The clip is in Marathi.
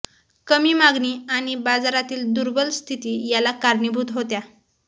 कमी मागणी आणि बाजारातील दुर्बल स्थिती याला कारणीभूत होत्या